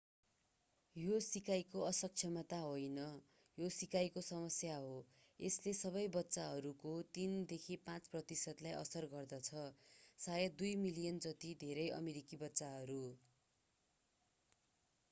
यो सिकाइको असक्षमता होइन यो सिकाइको समस्या हो यसले सबै बच्चाहरूको 3 देखि 5 प्रतिशतलाई असर गर्दछ शायद 2 मिलियन जति धेरै अमेरिकी बच्चाहरू